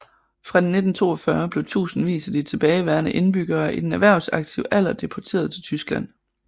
Fra 1942 blev tusindvis af de tilbageværende indbyggere i den erhvervsaktive alder deporteret til Tyskland